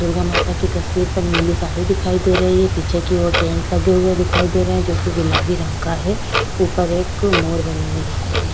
दुर्गा माता की तस्वीर पर नीली साड़ी दिखाई दे रही है पीछे की ओर टेंट लगे हुए दिखाई दे रहे हैं जो कि गुलाबी रंग का है ऊपर एक अ मोर बनी हुई दिखाई।